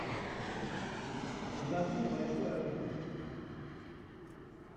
закажи небольшой арбуз